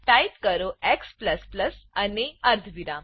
type કરો x અને અર્ધવિરામ